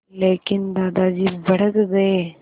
लेकिन दादाजी भड़क गए